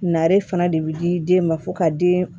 Nare fana de bi di den ma fo ka den